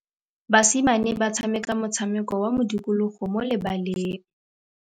Basimane ba tshameka motshameko wa modikologô mo lebaleng.